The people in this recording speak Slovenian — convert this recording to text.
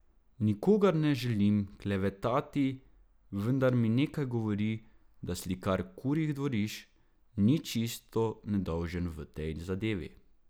Nikogar ne želim klevetati, vendar mi nekaj govori, da slikar kurjih dvorišč ni čisto nedolžen v tej zadevi ...